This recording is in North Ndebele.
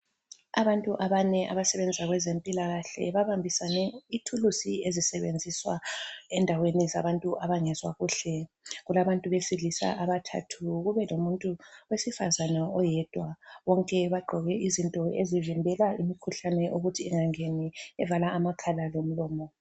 Abantu abane abasebenza kwezempilakahle babambisane ithuluzi ezisebenziswa endaweni zabantu abangezwa kuhle. Kulabantu besilisa abathathu kube lomuntu owesifazane oyedwa bonke bagqoke izinto ezivimbela imikhuhlane ukuthi ingangeni evala amakhala lemilomo.